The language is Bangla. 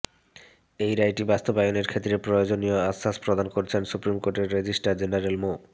এই রায়টি বাস্তবায়নের ক্ষেত্রে প্রয়োজনীয় আশ্বাস প্রদান করেছেন সুপ্রিম কোর্টের রেজিস্ট্রার জেনারেল মো